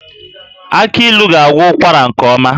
Aki ilu ga-agwọ ụkwara nke ọma